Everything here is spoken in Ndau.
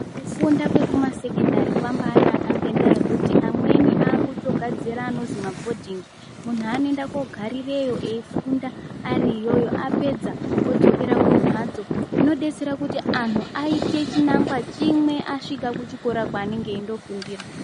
Kufunda kwekumasekendari kwambanaka ngendaya yekuti amweni akutogadzira anozi mabhodhingi munhu anoenda kogarireyo eifunda ariyoyo apedza odzokera kumhatso zvinodetsera kuti anhu aite chinangwa chimwe asvika kuchikora kwaanenge eindofundira.